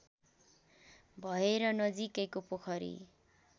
भएर नजिकैको पोखरी